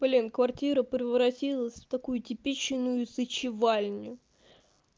блин квартира превратилась в такую типичную сычевальню